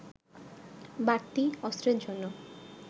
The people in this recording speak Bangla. বাড়তি অস্ত্রের জন্য